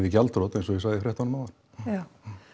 í gjaldþrot eins og ég sagði í fréttunum áðan já